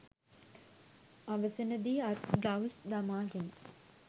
අවසන දී අත් ග්ලව්ස් දමාගෙන